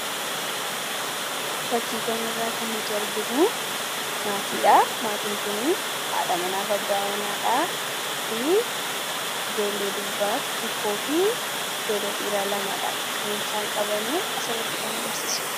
Fakkii kanarraa kan nuti arginu maatiidha. Maatiin kun haadha manaa fi abbaa manaa fi ijoollee durbaa tokkoo fi ijoollee dhiiraa lamadha kan isaan qaban asirratti kan agarsiisu.